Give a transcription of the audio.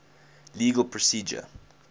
legal procedure